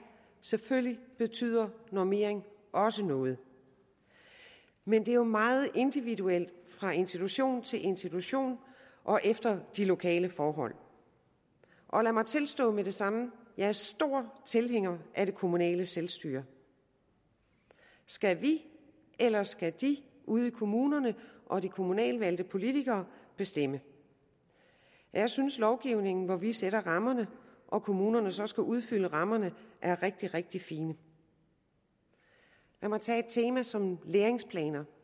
selvfølgelig betyder normering også noget men det er jo meget individuelt fra institution til institution og efter de lokale forhold og lad mig tilstå med det samme at jeg er stor tilhænger af det kommunale selvstyre skal vi eller skal de ude i kommunerne og de kommunalvalgte politikere bestemme jeg synes lovgivning hvor vi sætter rammerne og kommunerne så skal udfylde rammerne er rigtig rigtig fin lad mig tage et tema som læringsplaner